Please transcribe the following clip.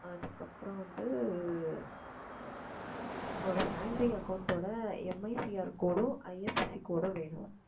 அதுக்கப்புறம் வந்து உன்னோட salary account ஓட MICRcode உம் IFSC code உம் வேணும்